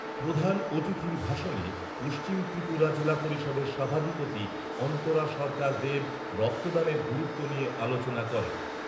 প্রধান অতিথির ভাষণে পশ্চিম ত্রিপুরা জেলা পরিষদের সভাধিপতি অন্তরা সরকার দবে রক্তদানের গুরুত্ব নিয়ে আলোচনা করেন।